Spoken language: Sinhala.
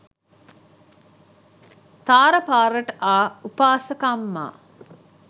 තාර පාරට ආ උපාසකම්මා